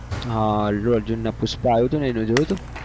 હા અલ્લુ અર્જુનનું પુષ્પા આવ્યું હતું એનું જોયું હતું?